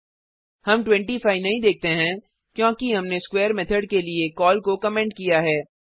हम 25 नहीं देखते हैं क्योंकि हमने स्क्वेर मेथड के लिए कॉल को कमेंट किया है